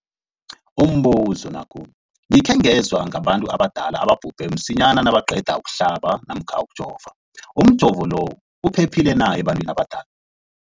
Umbuzo, gikhe ngezwa ngabantu abadala ababhubhe msinyana nabaqeda ukuhlaba namkha ukujova. Umjovo lo uphephile na ebantwini abadala?